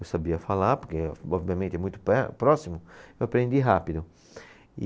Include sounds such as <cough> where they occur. Eu sabia falar, porque a <unintelligible> minha mente é muito per próxima, eu aprendi rápido.